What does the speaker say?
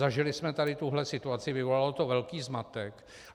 Zažili jsem tady tuhle situaci, vyvolalo to velký zmatek.